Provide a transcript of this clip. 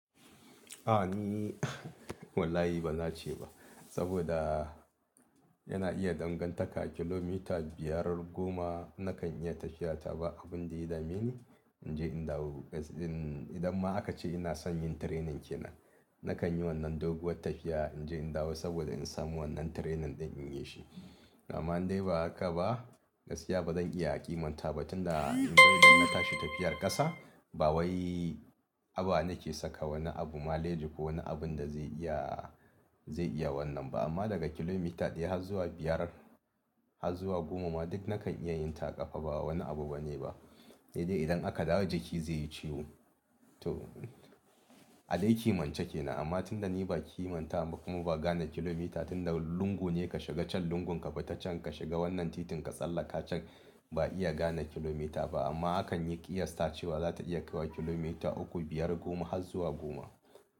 A ni wallahi ba na ce ba saboda yana iya dangantaka kilomita biyar goma nakan iya tafiyata ba abun da ya dame ni in je in dawo. Idan ma aka ce ina son yin training kenan nakan yi wannan doguwar tafiya in je in dawo saboda in samu wannan training ɗin in yi shi. Amma in dai ba haka ba gaskiya ba zan iya ƙimanta ba tunda in dai ina tashi tafiyar ƙasa, ba wai aba na ke saka wani abu maleji ko wani abun da zai iya, zai iya wannan ba. Amma daga kilomita ɗaya har zuwa biyar har zuwa goma ma duk na kan iya yin ta a ƙafa ba wani abu bane ba. He dai idan aka dawo jiki zai yi ciwo to adai kimance kenan. Amma tunda ni ba ki manta ba kuma ba gane kilomita tunda lungu ne ka shiga can lungun ka fita can ka shiga wannan titin ka tsallaka can ba iya gane kilomita ba. Amma akan yi ƙiyasta cewa za ta iya kaiwa kilomita uku, biyar, goma har zuwa goma.